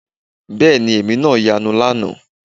Bẹ́ẹ̀ ni èmi náà yanu lánàá